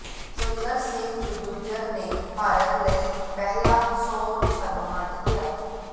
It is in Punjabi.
ਸੁੰਦਰ ਸਿੰਘ ਗੁੱਜਰ ਨੇ ਭਾਰਤ ਲਈ ਪਹਿਲਾ ਸੋਨ ਤਗਮਾ ਜਿੱਤਿਆ